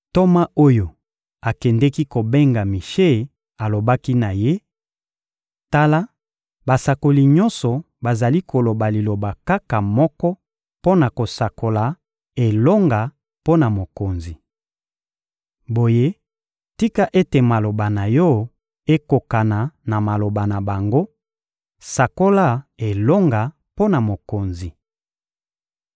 Ntoma oyo akendeki kobenga Mishe alobaki na ye: — Tala, basakoli nyonso bazali koloba liloba kaka moko mpo na kosakola elonga mpo na mokonzi. Boye, tika ete maloba na yo ekokana na maloba na bango: sakola elonga mpo na mokonzi!